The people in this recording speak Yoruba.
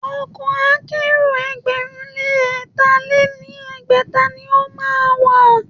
Ọkọ̀ akẹ́rò ẹgbẹ̀rún lé ẹ̀tà lé ní ẹgbẹ́ta ni o má a wà.